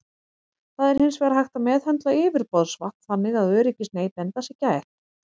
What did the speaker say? Það er hins vegar hægt að meðhöndla yfirborðsvatn þannig að öryggis neytenda sé gætt.